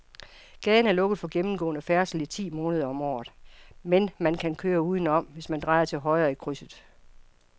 Gaden er lukket for gennemgående færdsel ti måneder om året, men man kan køre udenom, hvis man drejer til højre i krydset.